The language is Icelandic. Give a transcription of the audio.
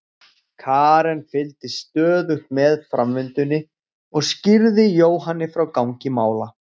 Karen fylgdist stöðugt með framvindunni og skýrði Jóhanni frá gangi mála.